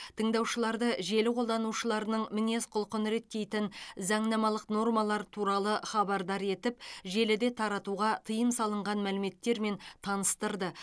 тыңдаушыларды желі қолданушыларының мінез құлқын реттейтін заңнамалық нормалар туралы хабардар етіп желіде таратуға тыйым салынған мәліметтермен таныстырды